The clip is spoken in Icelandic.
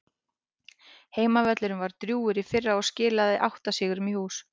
Heimavöllurinn var drjúgur í fyrra og skilaði átta sigrum í hús.